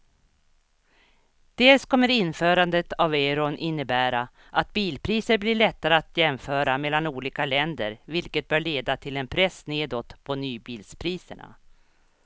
Dels kommer införandet av euron innebära att bilpriser blir lättare att jämföra mellan olika länder vilket bör leda till en press nedåt på nybilspriserna.